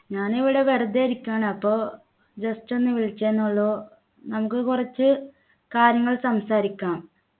ഞാനിവിടെ വെറുതെ ഇരിക്കാണ് അപ്പൊ just ഒന്ന് വിളിച്ചേ ന്നുള്ളു നമുക്ക് കുറച്ചു കാര്യങ്ങൾ സംസാരിക്കാം